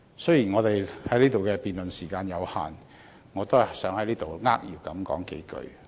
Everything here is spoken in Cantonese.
雖然辯論時間有限，我也希望在此扼要表述幾句。